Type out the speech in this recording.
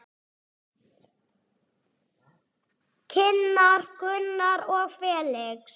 Kynnar Gunnar og Felix.